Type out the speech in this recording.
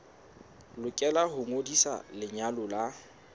lokela ho ngodisa lenyalo la